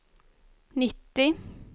nittio